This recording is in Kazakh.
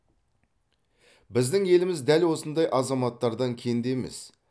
біздің еліміз дәл осындай азаматтардан кенде емес